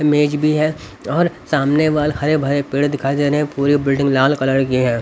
मेज भी है और सामने वाले हरे भरे पेड़ दिखाई दे रहे हैं पूरी बिल्डिंग लाल कलर की है.